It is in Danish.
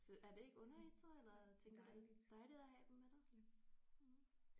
Så er det ikke underligt så eller tænker du det dejligt at have dem med dig mh